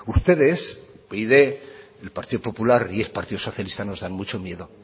ustedes upyd el partido popular y el partido socialista nos dan mucho miedo